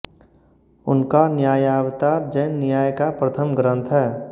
उनका न्यायावतार जैन न्याय का प्रथम ग्रंथ है